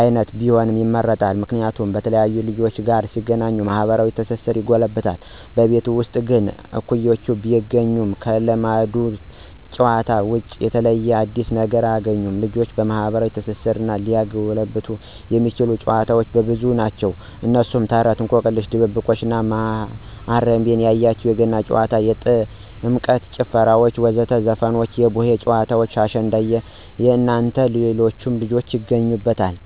አይነቶች ቢሆኑ ይመረጣል። ምክንያቱም በተለያዩ ልጆች ጋር ሲገናኙ ማህበራዊ ትስስራቸው ይጎለብታል። በቤት ውስጥ ግን እኩያወችን ቢያገኙም ከለመዱት ጨዋታዎች ውጭ የተለየ አዲስ ነገር አያግኙም። ልጆችን ማህበራዊ ትስስራቸውን ሊያጎለብት የሚያስችሉ ጨዋታዎች ብዙ ናቸው። እነሱም፦ ተረት፣ እንቆቅልሽ፣ ድብብቆሽ፣ ማሀረቤ ያየሽ፣ የገና ጨዋታ፣ የጥምቀት ጭፈራዎች ወይም ዘፈኖች፣ የቡሄ ጨዋታ፣ አሸንድየ እናንተ ሌሎችን ይገኙበታል።